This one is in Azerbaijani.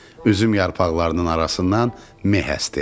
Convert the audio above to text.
Üzüm yarpaqlarının arasından meh əsdi.